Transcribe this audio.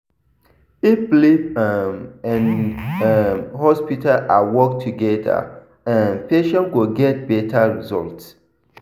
if belief um and um hospital care work together um patients go get better results.